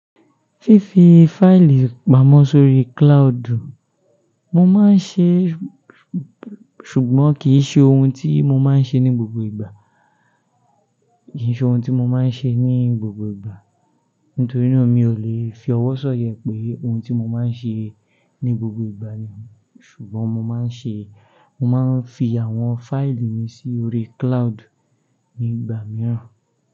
Fífi fáìlì pamọ́ sórí cloud, mo máa ń ṣe, ṣùgbọ́n kì ṣe ohun tí mo máa ń ṣe ní gbogbo ìgbà. Kì í ṣe ohun tí mo máa ń ṣe ní gbogbo ìgbà. Nítorí náà mi ò lè fi ọwọ́ sanya e pé ohun tí mo máa ń ṣe ní gbogbo ìgbà ni. Ṣùgbọ́n mo máa ń ṣe, mo máa ń fi àwọn fáìlì mi sí orí cloud nígbà mìíràn.